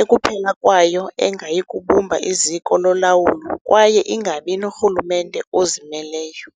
ekuphela kwayo engayi kubumba iziko lolawulo kwaye ingabi norhulumente ozimeleyo.